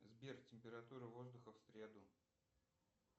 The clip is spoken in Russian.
сбер температура воздуха в среду